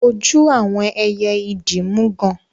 Ojú àwọn ẹyẹ idí mú gán.